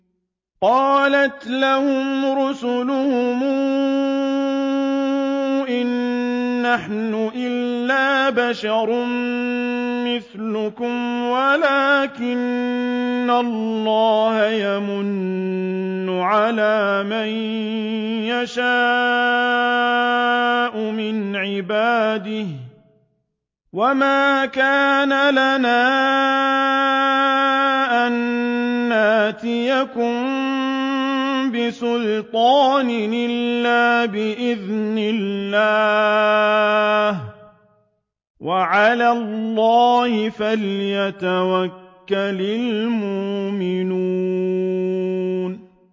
قَالَتْ لَهُمْ رُسُلُهُمْ إِن نَّحْنُ إِلَّا بَشَرٌ مِّثْلُكُمْ وَلَٰكِنَّ اللَّهَ يَمُنُّ عَلَىٰ مَن يَشَاءُ مِنْ عِبَادِهِ ۖ وَمَا كَانَ لَنَا أَن نَّأْتِيَكُم بِسُلْطَانٍ إِلَّا بِإِذْنِ اللَّهِ ۚ وَعَلَى اللَّهِ فَلْيَتَوَكَّلِ الْمُؤْمِنُونَ